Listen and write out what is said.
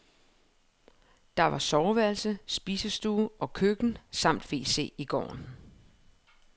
Der var soveværelse, spisestue og køkken samt wc i gården.